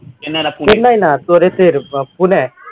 চেন্নাই না তোর ইসে আহ পুণে